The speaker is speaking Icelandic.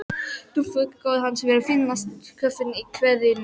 Dúfnakofinn hans verður fínasti kofinn í hverfinu.